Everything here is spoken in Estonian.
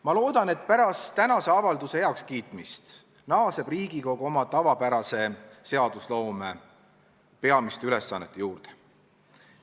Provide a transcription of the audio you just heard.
Ma loodan, et pärast tänase avalduse heakskiitmist naaseb Riigikogu oma tavapärase seadusloome peamiste ülesannete juurde.